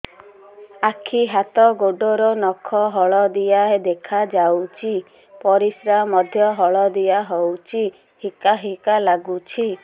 ଆଖି ହାତ ଗୋଡ଼ର ନଖ ହଳଦିଆ ଦେଖା ଯାଉଛି ପରିସ୍ରା ମଧ୍ୟ ହଳଦିଆ ହଉଛି ହିକା ହିକା ଲାଗୁଛି